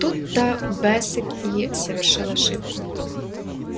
тут то бэсик и совершил ошибку